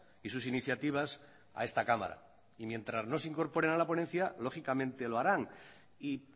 y sus iniciativas a esta cámara y mientras no se incorporen a la ponencia lógicamente lo harán y